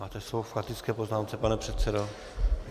Máte slovo k faktické poznámce, pane předsedo.